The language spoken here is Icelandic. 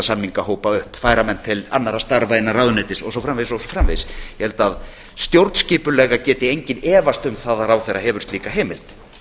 samningahópa upp færa menn til annarra starfa innan ráðuneytis og svo framvegis og svo framvegis ég held að stjórnskipulega geti enginn efast um það að ráðherra hefur slíka heimild